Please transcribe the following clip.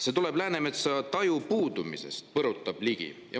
"See tuleb Läänemetsa taju puudumisest," põrutas Ligi.